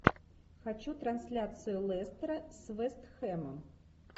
хочу трансляцию лестера с вест хэмом